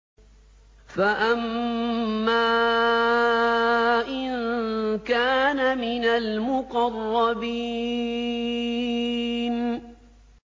فَأَمَّا إِن كَانَ مِنَ الْمُقَرَّبِينَ